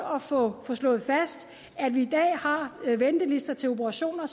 at få slået fast at vi i dag har ventelister til operationer